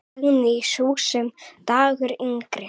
Dagný, sú sem dagur yngir.